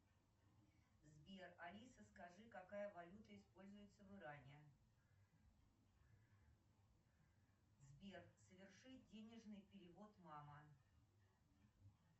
сбер алиса скажи какая валюта используется в иране сбер соверши денежный перевод мама